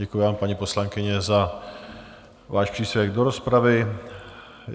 Děkuji vám, paní poslankyně, za váš příspěvek do rozpravy.